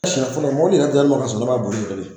Siɲɛ fɔlɔ mɔbili yɛrɛ dira ne ma ka sɔrɔ ne ma boli yɛrɛ de.